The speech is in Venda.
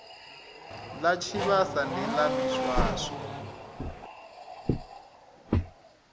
ḽa tshivhasa ndi ḽa miswaswo